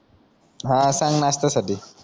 हा सांग नाष्टासाठी